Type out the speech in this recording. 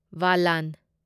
ꯕꯂꯥꯟ